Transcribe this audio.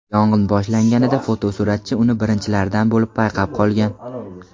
Yong‘in boshlanganida, fotosuratchi uni birinchilardan bo‘lib payqab qolgan.